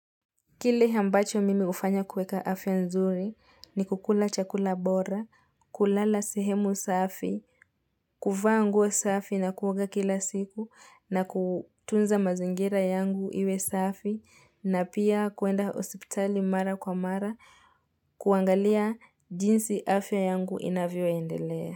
Kile ambacho mimi ufanya kuweka afya nzuri ni kukula chakula bora, kulala sehemu safi, kuvaa nguo safi na kuoga kila siku na kutunza mazingira yangu iwe safi na pia kuenda hosiptali mara kwa mara kuangalia jinsi afya yangu inavyo endelea.